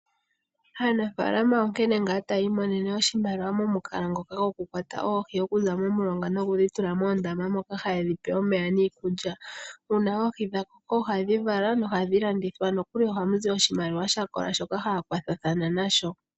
Aanafaalama onkene taya imonene iimaliwa momukalo gokukwata oohi okuza momulonga nokudhi tula moondama moka haye dhi pe omeya niikulya. Uuna oohi dha koko ohadhi vala nohadhi landithwa . Ohamu zi oshimaliwa sha kola shoka haya ikwatha nasho.